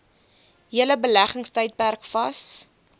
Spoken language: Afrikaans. hele beleggingstydperk vas